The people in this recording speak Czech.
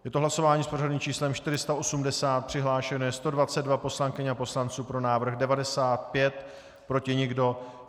Je to hlasování s pořadovým číslem 480, přihlášeno je 122 poslankyň a poslanců, pro návrh 95, proti nikdo.